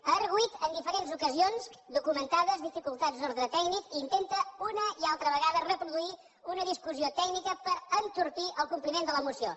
ha argüit en diferents ocasions documentades dificultats d’ordre tècnic i intenta una i altra vegada reproduir una discussió tècnica per entorpir el compliment de la moció